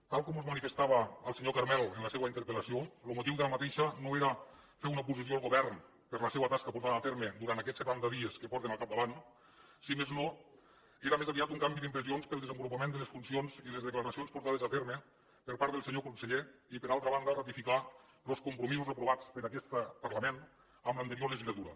tal com mos manifestava el senyor carmel en la seua interpel·lació lo motiu d’aquesta no era fer una oposició al govern per la seua tasca portada a terme durant aquests setanta dies que porten al capdavant si més no era més aviat un canvi d’impressions per al desenvolupant de les funcions i les declaracions portades a terme per part del senyor conseller i per altra banda ratificar los compromisos aprovats per aquest parlament en l’anterior legislatura